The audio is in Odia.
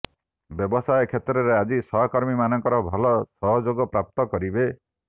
ବ୍ୟବସାୟ କ୍ଷେତ୍ରରେ ଆଜି ସହକର୍ମିମାନଙ୍କର ଭଲ ସହଯୋଗ ପ୍ରାପ୍ତ କରିବେ